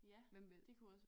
Hvem ved